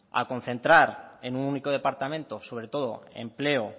a concentrar en un único departamento sobre todo empleo